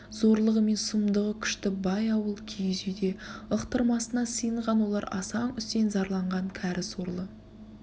зорлығы мен сұмдығы күшті бай ауыл киіз үйде ықтырмасына сыйынған олар асаң үсен зарланған кәрі сорлы